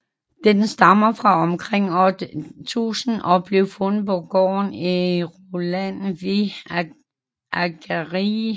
Den stammer fra omkring år 1000 og blev fundet på gården Eyrarland ved Akureyri på Island